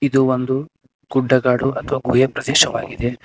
ಇದು ಒಂದು ಗುಡ್ಡಗಾಡು ಅಥವಾ ಗುಹೆ ಪ್ರದೇಶವಾಗಿದೆ.